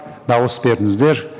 дауыс беріңіздер